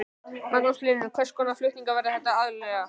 Magnús Hlynur: Hvers konar flutningar verða þetta aðallega?